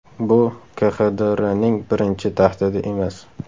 Bu KXDRning birinchi tahdidi emas .